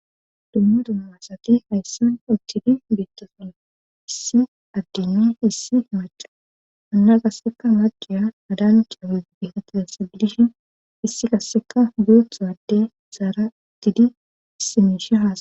Dummu dumumasati hayssan ottidi bettoson issi addeno issi maca anna qasseka maciya adan ciame biinata hassa bilishin issi qasseka buothowade zaara uttidi issimiisha haaa